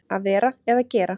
Að vera eða gera